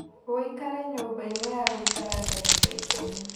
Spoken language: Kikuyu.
ũikare nyũmba-inĩ ya gũikara ndagĩka ikũmi